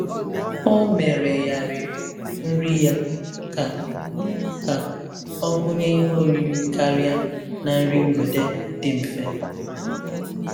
Ọ meregharịrị nri ya ka ka ọ gụnye ihe oriri karịa na nri mgbede dị mfe.